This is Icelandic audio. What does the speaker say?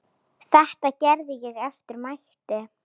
Þetta gerði ég eftir mætti.